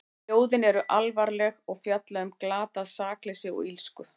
Ljóðin eru alvarleg og fjalla um glatað sakleysi og illsku.